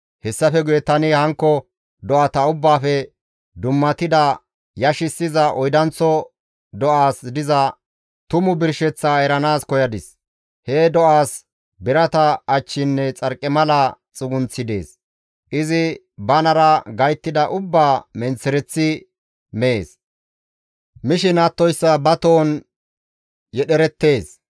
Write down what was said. «Hessafe guye tani hankko do7ata ubbaafe dummatidi yashissiza oydanththo do7aasi diza tumu birsheththaa eranaas koyadis. He do7aas birata achchinne xarqimala xugunththi dees; izi banara gayttida ubbaa menththereththi mees; mishin attoyssa ba tohon yedhdherettees.